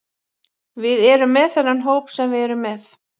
Við erum með þennan hóp sem við erum með.